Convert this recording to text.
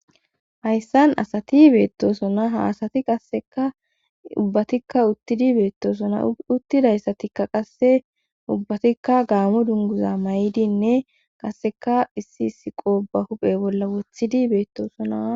hayssan asati beettosona haasati qasseka ubbatikka uttidi beettosona uttidayssatikka qasse ubbatikka gaamu dunguza may7idinne qasseka issi issi qoo ba huphe bolla wothidi beettoosona